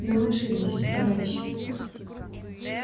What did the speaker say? но мы ошиблись товарищи